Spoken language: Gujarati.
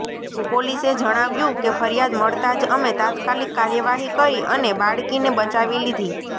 પોલીસે જણાવ્યું કે ફરિયાદ મળતા જ અમે તાત્કાલિક કાર્યવાહી કરી અને બાળકીને બચાવી લીધી